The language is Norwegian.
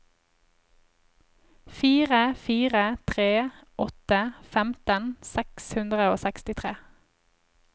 fire fire tre åtte femten seks hundre og sekstitre